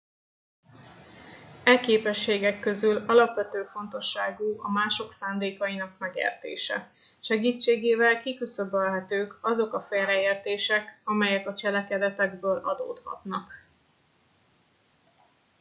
e képességek közül alapvető fontosságú a mások szándékainak megértése segítségével kiküszöbölhetők azok a félreértések amelyek a cselekedetekből adódhatnak